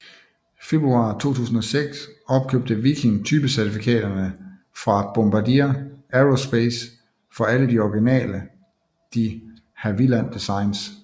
Februar 2006 opkøbte Viking typecertifikaterne fra Bombardier Aerospace for alle de originale de Havilland designs